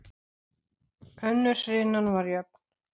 Önnur hrinan var jöfn.